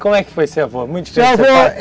Como é que foi ser avô? Ser avô